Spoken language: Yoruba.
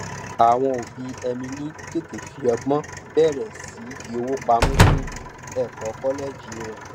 àwọn òbí emily tètè fi ọgbọn bẹrẹ sí í fi owó pamọ fún ẹkọ kọlẹẹjì rẹ